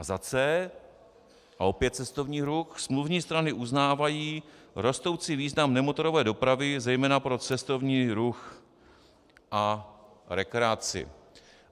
A za c), a opět cestovní ruch: smluvní strany uznávají rostoucí význam nemotorové dopravy zejména pro cestovní ruch a rekreaci.